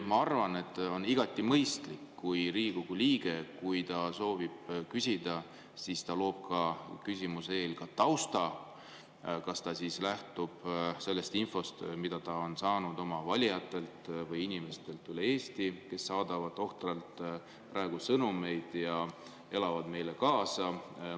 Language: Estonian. Ma arvan, et on igati mõistlik, et kui Riigikogu liige soovib küsida, siis ta loob küsimuse eel ka tausta, kas ta lähtub sellest infost, mida ta on saanud oma valijatelt või inimestelt üle Eesti, kes saadavad ohtralt praegu sõnumeid ja elavad meile kaasa.